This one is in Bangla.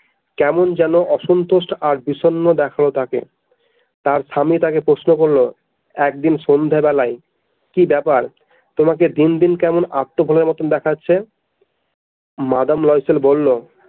কেমন যেন অসন্তোষ আর বিষণ্ণ দেখালো তাকে তার স্বামী তাকে প্রশ্ন করলো একদিন সন্ধ্যা বেলায় কি ব্যাপার তোমাকে দিন দিন কেমন আত্মভোলার মতো দেখাচ্ছে মাদাম লয়সেল বলল।